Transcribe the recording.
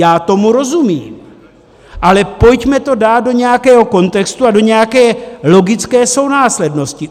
Já tomu rozumím, ale pojďme to dát do nějakého kontextu a do nějaké logické sounáslednosti.